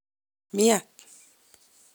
miat.